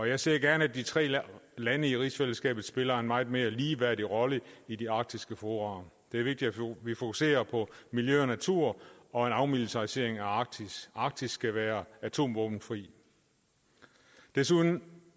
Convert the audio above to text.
jeg ser gerne at de tre lande i rigsfællesskabet spiller en meget mere ligeværdig rolle i de arktiske fora det er vigtigt at vi fokuserer på miljø og natur og en afmilitarisering af arktis arktis skal være atomvåbenfri desuden